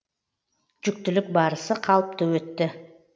жүктілік барысы қалыпты өтті